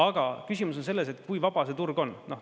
Aga küsimus on selles, et kui vaba see turg on.